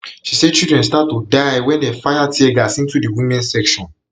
she say children start to die wen dem fire tear gas into di women section